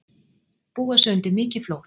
Búa sig undir mikið flóð